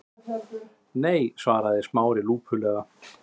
Nei- svaraði Smári lúpulega.